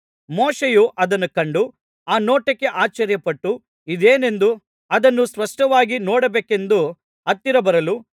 ಮೋಶೆಯು ಅದನ್ನು ಕಂಡು ಆ ನೋಟಕ್ಕೆ ಆಶ್ಚರ್ಯಪಟ್ಟು ಇದೇನೆಂದು ಅದನ್ನು ಸ್ಪಷ್ಟವಾಗಿ ನೋಡಬೇಕೆಂದು ಹತ್ತಿರ ಬರಲು